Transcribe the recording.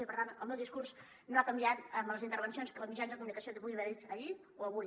i per tant el meu discurs no ha canviat en les intervencions als mitjans de comunicació que hi pugui haver fet ahir o avui